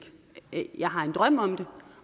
jeg har en drøm om det